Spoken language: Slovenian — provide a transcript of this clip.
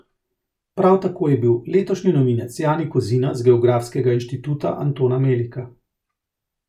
Prav tako je bil letošnji novinec Jani Kozina z Geografskega inštituta Antona Melika.